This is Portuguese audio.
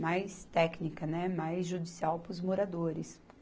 mais técnica, né, mais judicial para os moradores.